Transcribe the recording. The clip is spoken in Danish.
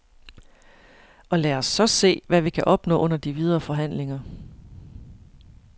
Og lad os så se, hvad vi kan opnå under de videre forhandlinger.